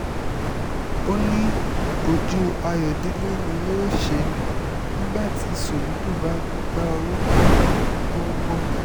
ó ní ojú ayọ̀dẹ̀lẹ̀ ni yóò ṣe nígbà tí soludo bá gbégbá orókè lọ́dún tó ń bọ̀